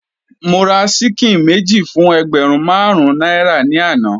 Mo ra ṣíkìn méjì fún ẹgbẹ̀rún marun náírà ni àná.